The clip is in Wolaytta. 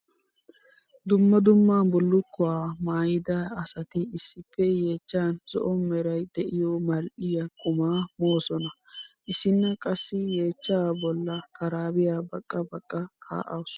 Dumma dumma bullukkuwa maayidda asatti issippe yeechchan zo'o meray de'iyo mali'iya qumma moosonna. Issinna qassi yeechcha bolla karabiya baqqa baqqa ka'awussu.